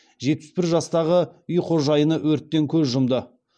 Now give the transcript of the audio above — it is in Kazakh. жетпіс бір жастағы үй қожайыны өрттен көз жұмды